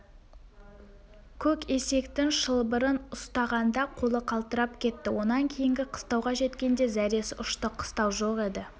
көк есектің шылбырын ұстағанда қолы қалтырап кетті онан кейінгі қыстауға жеткенде зәресі ұшты қыстау жоқ еді